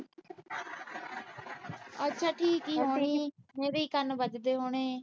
ਅੱਛਾ ਠੀਕ ਈ ਹੋਣੀ। ਮੇਰੀ ਈ ਕੰਨ ਵੱਜਦੇ ਹੋਣੇ।